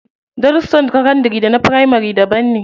Darussan sakandari da na firamari daban ne.